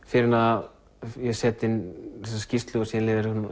fyrr en að ég set inn þessa skýrslu og svo